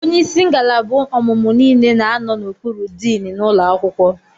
Onye isi ngalaba ọmụmụ niile na anọ n'okpuru diin n'ụlọ akwụkwọ.